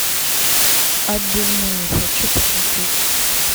отбивные хочу посмотреть